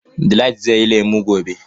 Delight zai sayi lemu gobe.